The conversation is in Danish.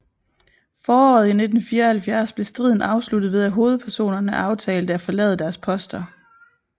Foråret i 1974 blev striden afsluttet ved at hovedpersonerne aftalte at forlade deres poster